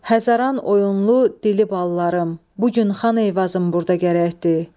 Həzəran oyunlu, dili ballarım, bu gün Xan Eyvazım burda gərəkdir.